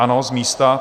Ano, z místa.